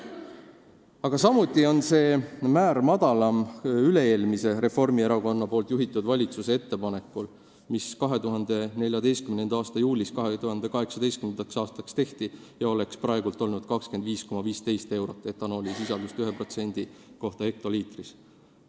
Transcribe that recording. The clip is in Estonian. Aga samuti on see määr madalam üle-eelmise valitsuse, ka Reformierakonna juhitud valitsuse ettepanekust, mis 2014. aasta juulis 2018. aasta kohta tehti ja nägi ette 25,15 eurot etanoolisisalduse ühe mahuprotsendi kohta hektoliitris.